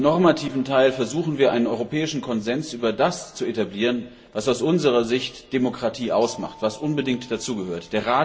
Im normativen Teil versuchen wir, einen europäischen Konsens über das zu etablieren, was aus unserer Sicht Demokratie ausmacht, was unbedingt dazugehört.